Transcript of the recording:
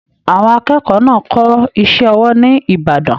Àwọn akẹ́kọ̀ọ́ náà kọ iṣẹ ọwọ ní Ìbàdàn